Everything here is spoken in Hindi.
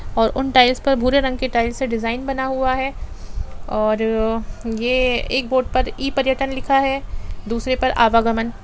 और उन टाइल्स पर भूरे रंग के टाइल्स से डिजाइन बना हुआ है और ये एक बोर्ड पर ई पर्यटन लिखा है दूसरे पर आवागमन।